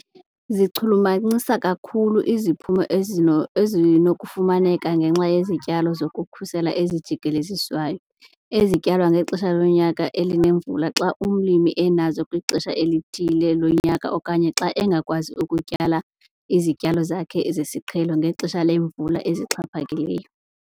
Zichulumancisa kakhulu iziphumo ezino ezinokufumaneka ngenxa yezityalo zokukhusela ezijikeleziswayo ezityalwa ngexesha lonyaka elinemvula xa umlimi enazo kwixesha elithile lonyaka okanye xa engakwazi kutyala izityalo zakhe ezesiqhelo ngexesha leemvula ezixhaphakileyo.